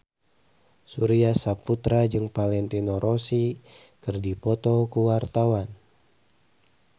Surya Saputra jeung Valentino Rossi keur dipoto ku wartawan